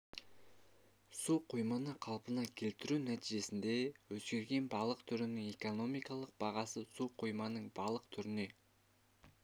су қойманы қалпына келтіру нәтижесінде өзгерген балық түрінің экономикалық бағасы су қоймасының балық түріне